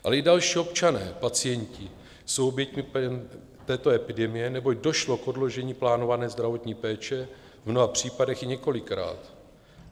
Ale i další občané pacienti jsou oběťmi této epidemie, neboť došlo k odložení plánované zdravotní péče, v mnoha případech i několikrát.